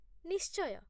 ନିଶ୍ଚୟ